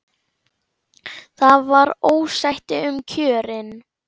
Það var ósætti um kjörin.